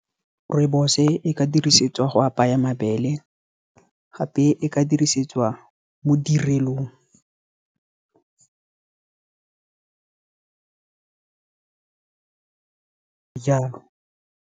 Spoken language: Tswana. Rooibos-e ka dirisetswa go apaya mabele, gape e ka dirisetswa mo ditirelong, jalo.